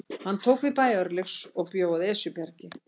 Hún tók við bæ Örlygs og bjó að Esjubergi.